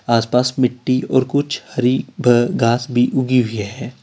आसपास मिट्टी और कुछ हरी भ घास भी उगी हुई है।